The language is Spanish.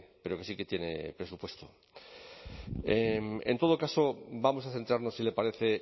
pero que sí que tiene presupuesto en todo caso vamos a centrarnos si le parece